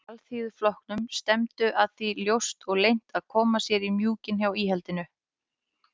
Alþýðuflokknum stefndu að því ljóst og leynt að koma sér í mjúkinn hjá íhaldinu.